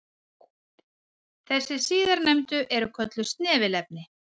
Þessi síðarnefndu eru kölluð snefilefni.